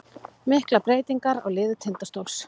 Miklar breytingar á liði Tindastóls